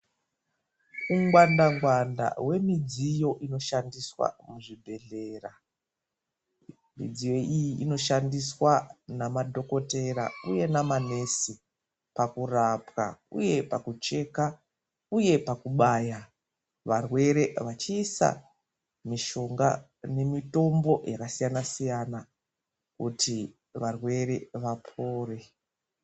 Ungwanda ngwanda hwemidziyo inoshandiswa muzvibhedhlera. Midziyo iyi inoshandiswa namadhokotera uye namanesi pakurapwa uye pakucheka uye pakubaya varwere vachiisa mishonga nemitombo yakasiyana siyana kuti varwere vapore .